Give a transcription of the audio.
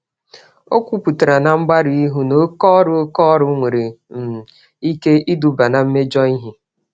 Ọ kwupụtara nchegbu na oke ọrụ nwere ike iduga na mmejọ.